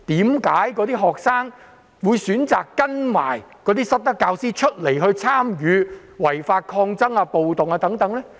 為何有些學生會選擇跟隨那些失德教師參與違法抗爭或暴動呢？